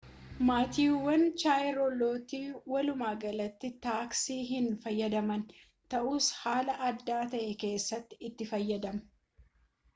maatiiwwan chaarlootii walumaa galatti taaksii hin fayyadamaan ta'us haala addaa ta'e keessatti itti fayyadamuu